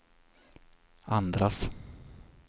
andras